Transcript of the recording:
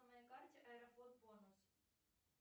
на моей карте аэрофлот бонус